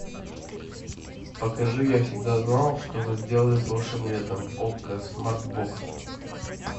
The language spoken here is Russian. покажи я всегда знал что вы сделали прошлым летом окко смарт бокс